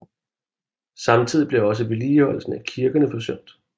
Samtidig blev også vedligeholdelsen af kirkerne forsømt